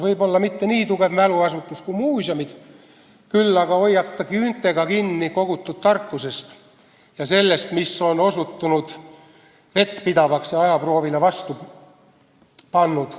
Võib-olla mitte nii tugev mäluasutus kui muuseumid, küll aga hoiab ta küüntega kinni kogutud tarkusest ja sellest, mis on osutunud vettpidavaks ja ajaproovile vastu pannud.